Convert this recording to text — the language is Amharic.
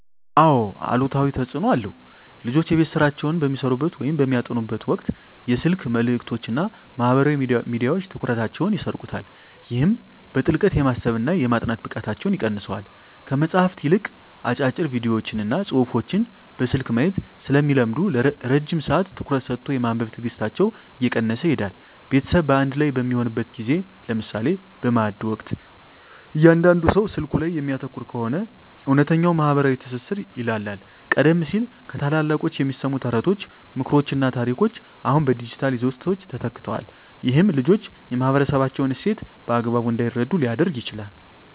አዎ አሉታዊ ተፅኖ አለው። ልጆች የቤት ሥራቸውን በሚሠሩበት ወይም በሚያጠኑበት ወቅት የስልክ መልእክቶችና ማኅበራዊ ሚዲያዎች ትኩረታቸውን ይሰርቁታል። ይህም በጥልቀት የማሰብና የማጥናት ብቃታቸውን ይቀንሰዋል። ከመጽሐፍት ይልቅ አጫጭር ቪዲዮዎችንና ጽሑፎችን በስልክ ማየት ስለሚለምዱ፣ ረጅም ሰዓት ትኩረት ሰጥቶ የማንበብ ትዕግሥታቸው እየቀነሰ ይሄዳል። ቤተሰብ በአንድ ላይ በሚሆንበት ጊዜ (ለምሳሌ በማዕድ ወቅት) እያንዳንዱ ሰው ስልኩ ላይ የሚያተኩር ከሆነ፣ እውነተኛው ማኅበራዊ ትስስር ይላላል። ቀደም ሲል ከታላላቆች የሚሰሙ ተረቶች፣ ምክሮችና ታሪኮች አሁን በዲጂታል ይዘቶች ተተክተዋል። ይህም ልጆች የማኅበረሰባቸውን እሴት በአግባቡ እንዳይረዱ ሊያደርግ ይችላል።